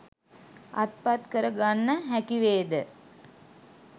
අත්පත් කරගන්න හැකිවේද?